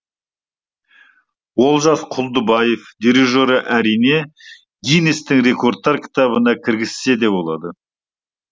олжас құлдыбаев дирижері әрине гиннестің рекордтар кітабына кіргізсе де болады